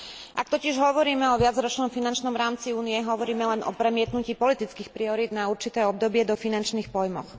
Ak totiž hovoríme o viacročnom finančnom rámci Únie, hovoríme len o premietnutí politických priorít na určité obdobie do finančných pojmov.